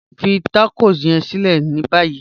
Fí tákọ yẹ̀n sílẹ̀ ní báyì..